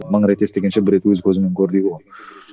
мың рет естігенше бір рет өз көзіңмен көр дейді ғой